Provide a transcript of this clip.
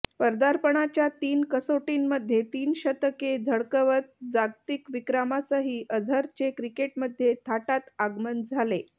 पदार्पणाच्या तीन कसोटींमध्ये तीन शतके झळकवत जागतिक विक्रमासह अझरचे क्रिकेटमध्ये थाटात आगमन झाले